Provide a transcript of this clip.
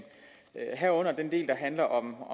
herunder den del der handler om